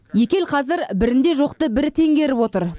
екі ел қазір бірінде жоқты бірі теңгеріп отыр